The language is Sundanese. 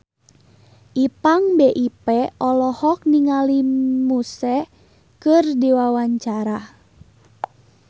Ipank BIP olohok ningali Muse keur diwawancara